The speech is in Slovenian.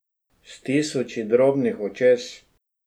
S tisoči drobnih očes?